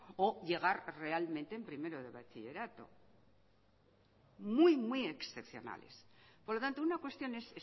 o llegar realmente en primero de bachillerato muy muy excepcionales por lo tanto una cuestión es